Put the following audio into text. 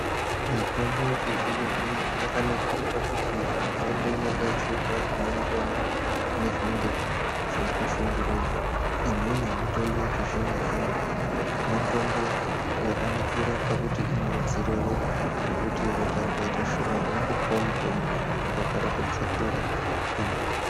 Mitombo yechizvino-zvino yakanakire pakuti inogadzirwa inoenderana nezvinenge zveikushungurudza. Imweni yemitombo yechizvino-zvino mitombo yakanakire pakuti inowedzere ropa zvekuti ropa rikaite shoma unongopiwa mutombo ropa rotodzokera pandau.